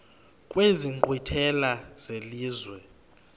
kwezi nkqwithela zelizwe